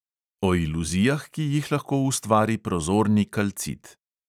O iluzijah, ki jih lahko ustvari prozorni kalcit.